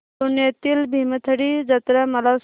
पुण्यातील भीमथडी जत्रा मला सांग